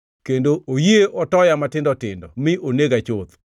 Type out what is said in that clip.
kendo oyie otoya matindo tindo mi onega chuth.